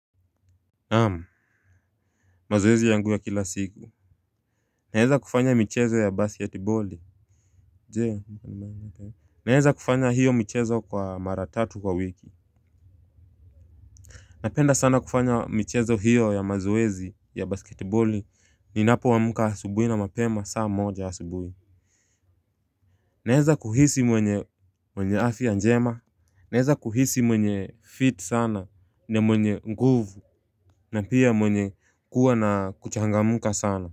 Ama mazoezi yangu ya kila siku naeza kufanya michezo ya basketboli. Naeza kufanya hiyo michezo kwa mara tatu kwa wiki. Napenda sana kufanya michezo hiyo ya mazoezi ya basketboli ninapo amka asubuhi na mapema saa moja asubuhi. Naeza kuhisi mwenye mwenye afya njema. Naeza kuhisi mwenye fit sana na mwenye nguvu na pia mwenye kuwa na kuchangamka sana.